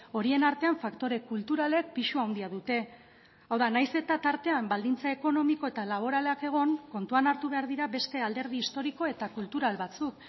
horien artean faktore kulturalek pisu handia dute hau da nahiz eta tartean baldintza ekonomiko eta laboralak egon kontuan hartu behar dira beste alderdi historiko eta kultural batzuk